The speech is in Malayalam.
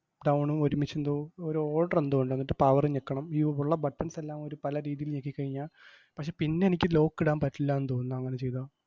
down ഉം ഒരുമിച്ചെന്തോ ഒരു order എന്തോ ഒണ്ട്. എന്നിട്ട് power ഇ ഞെക്കണം. ഈ ഉള്ള buttons എല്ലാം ഒരു പല രീതീല് ഞെക്കിക്കഴിഞ്ഞാ, പക്ഷേ പിന്നെനിക്ക് lock ഇടാൻ പറ്റില്ലാന്ന് തോന്നുന്ന് അങ്ങനെ ചെയ്താ.